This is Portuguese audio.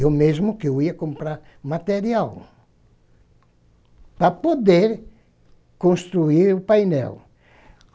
Eu mesmo que eu ia comprar material para poder construir o painel.